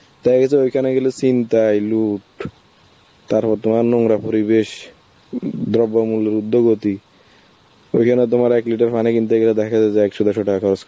তবে কিছু ওখানে গেলে ছিনতাই, লুট, তার মধ্যে নোংরা পরিবেশ উম . ওইখানে তোমার এক liter পানি কিনতে গেলে দেখা যায় যে একশো দুশো টাকা